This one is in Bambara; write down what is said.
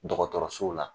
Dɔgɔtɔrɔso la